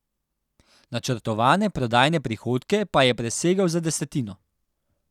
Načrtovane prodajne prihodke pa je presegel za desetino.